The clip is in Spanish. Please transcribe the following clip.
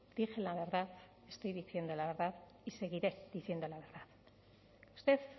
dije la verdad estoy diciendo la verdad y seguiré diciendo la verdad usted